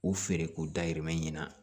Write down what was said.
U feere k'u dahirimɛ ɲina